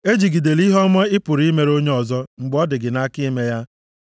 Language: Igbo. Ejigidele ihe ọma ị pụrụ imere onye ọzọ mgbe ọ dị gị nʼaka ime ya. + 3:27 \+xt Gal 6:10.\+xt*